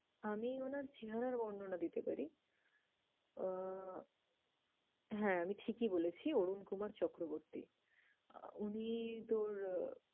আমি উনার চেহারার বর্ণনা দিতে পারি। আহ হ্যাঁ আমি ঠিকই বলেছি অরুণকুমার চক্রবর্তী। আহ উনি তোর